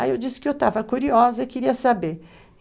Aí eu disse que eu estava curiosa e queria saber.